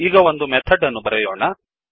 ಈಗ ಒಂದು ಮೆಥಡ್ ಅನ್ನು ಬರೆಯೋಣ